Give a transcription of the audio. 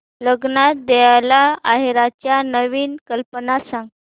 लग्नात द्यायला आहेराच्या नवीन कल्पना सांग